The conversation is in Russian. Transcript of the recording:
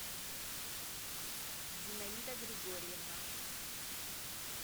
зинаида григорьевна